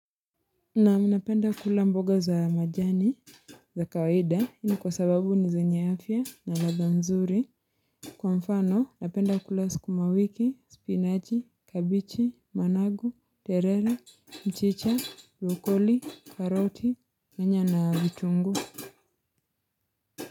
Naam, napenda kula mboga za majani za kawaida hii ni kwa sababu ni zenye afya na ladha nzuri. Kwa mfano, napenda kula skumawiki, spinachi, kabichi, managu, terere, mchicha, rukoli, karoti, nyanya na vitungu.